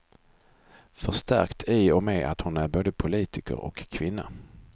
Förstärkt i och med att hon är både politiker och kvinna.